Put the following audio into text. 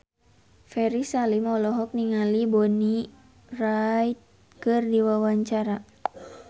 Ferry Salim olohok ningali Bonnie Wright keur diwawancara